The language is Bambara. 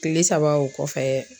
Kile saba o kɔfɛ